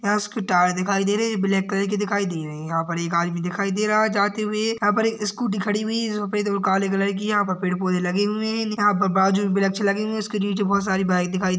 यहा उसकी दिखाई दे रही ब्लॅक कलर की दिखाई दे रही यहा पर एक आदमी दिखाई दे रहा जाते हुए यहा पर एक स्कूटी खड़ी हुई यहा पे दो काले कलर की यहा पर पेड़ पौधे लगे हुए है यहा पर बाजुमे वृक्ष लगी हुई उसके नीचे बहोत सारी बाइक दिखाई दे--